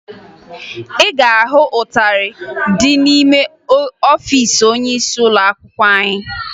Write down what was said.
Ị ga-ahụ ịtarị ndị n'ime ọfiisi onyeisi ụlọakwụkwọ anyị